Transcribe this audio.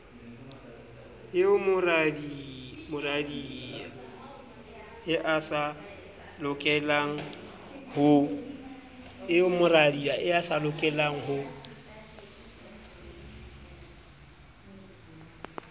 eo moradiae a sa lokelengho